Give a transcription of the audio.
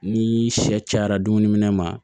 Ni sɛ cayara dumuni ma